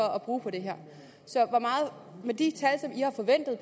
at bruge på det her så med de tal